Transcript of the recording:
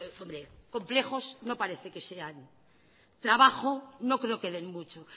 hombre complejos no parece que sean trabajo no creo que den mucho